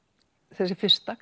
þessi fyrsta